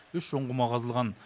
үш ұңғыма қазылған